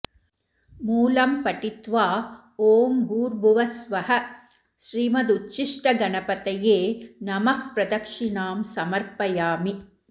मूलं पठित्वा ॐ भूर्भुवःस्वः श्रीमदुच्छिष्टगणपतये नमः प्रदक्षिणां समर्पयामि